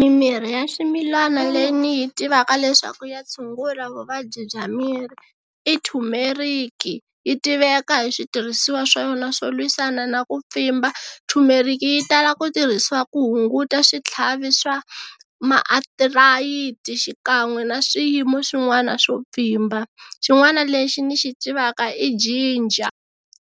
Mimirhi ya swimilana leyi ni yi tivaka leswaku ya tshungula vuvabyi bya miri i thumeriki yi tiveka hi switirhisiwa swa yona swo lwisana na ku pfimba thumeriki yi tala ku tirhisiwa ku hunguta switlhavi swa maathirayiti xikan'we na swiyimo swin'wana swo pfimba, xin'wana lexi ni xi tivaka i jinja,